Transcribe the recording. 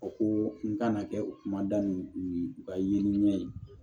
O ko n kana kɛ kumada nin ye ka yeli ɲɛɲini